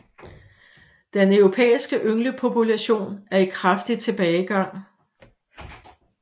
Den europæiske ynglepopulation er i kraftig tilbagegang